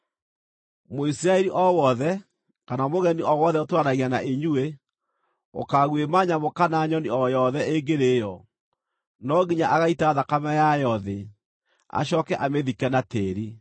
“ ‘Mũisiraeli o wothe, kana mũgeni o wothe ũtũũranagia na inyuĩ, ũkaaguĩma nyamũ kana nyoni o yothe ĩngĩrĩĩo, no nginya agaita thakame yayo thĩ, acooke amĩthike na tĩĩri,